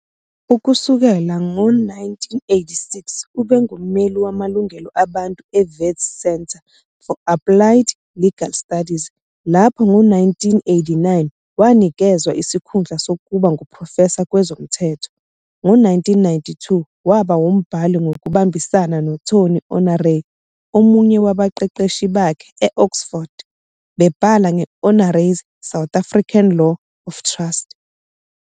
Ukusukela ngo-1986 ubengummeli wamalungelo abantu eWits Centre for Applied Legal Studies, lapho ngo-1989 wanikezwa isikhundla sokuba nguprofesa kwezomthetho. Ngo-1992 waba umbhali ngokubambisana, noTony Honoré, omunye wabaqeqeshi bakhe e-Oxford, bebhala nge-"Honoré's South African Law of Trusts".